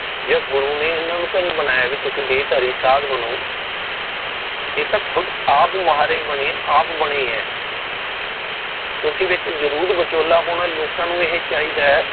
ਜਾਂ ਗੁਰੂ ਨੇ ਇਨ੍ਹਾਂ ਨੂੰ ਤਾ ਨਹੀ ਬਣਾਈਆਂ ਵੀ ਤੁਸੀ ਦੇਹ ਧਾਰੀ ਸਾਦ ਬਣੋ। ਇਹ ਖੁਦ ਆਪ ਮਾੜੇ ਬਣੇ ਆਪ ਬਣੇ ਏ। ਤੁਸੀ ਵਿੱਚ ਜਰੂਰ ਵਿਚੋਲਾ ਪਾਣਾ ਲੋਕਾਂ ਨੂੰ ਇਹ ਚਾਹੀਦਾ